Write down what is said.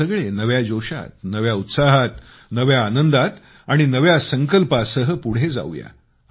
आपण सगळे नव्या जोशात नव्या उत्साहात नव्या आनंदात आणि नव्या संकल्पासह पुढे जाऊया